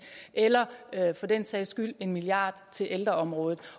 eller for den sags skyld en milliard til ældreområdet